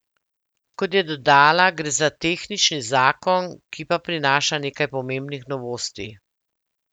Kot je dodala, gre za za tehnični zakon, ki pa prinaša nekaj pomembnih novosti.